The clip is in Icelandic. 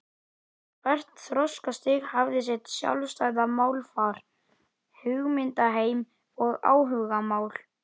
Hvert þroskastig hafði sitt sjálfstæða málfar, hugmyndaheim og áhugamál.